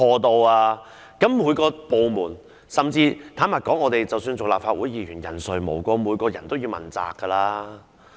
坦白說，各個部門甚至是立法會議員，人誰無過，人人也要問責。